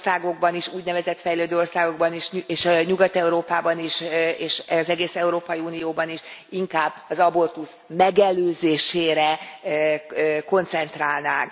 fejlődő országokban is, és Nyugat Európában is, és az egész Európai Unióban is inkább az abortusz megelőzésére koncentrálnánk.